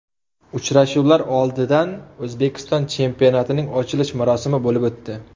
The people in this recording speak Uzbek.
Uchrashuvlar oldidan O‘zbekiston chempionatining ochilish marosimi bo‘lib o‘tdi.